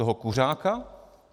Toho kuřáka?